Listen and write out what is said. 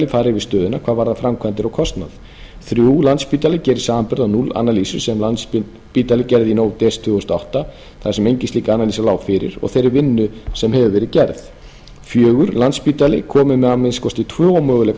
fari yfir stöðuna hvað varðar framkvæmdir og kostnað þriðja landspítali gerir samanburð á á analyses sem landspítali gerði í nóvember desember tvö þúsund og átta þar sem engin slík lá fyrir og þeirri vinnu sem hefur verið gerð fjórða landspítali kom með að minnsta kosti tvo möguleika